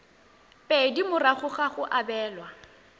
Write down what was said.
pedi morago ga go abelwa